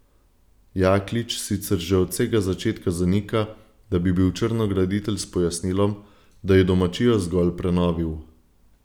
Jaklič sicer že od vsega začetka zanika, da bi bil črnograditelj s pojasnilom, da je domačijo zgolj prenovil.